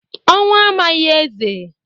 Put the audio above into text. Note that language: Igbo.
Ọnwụ amaghị eze..